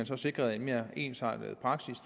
så sikres en mere ensartet praksis